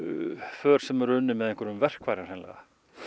för sem eru unnin með verkfærum hreinlega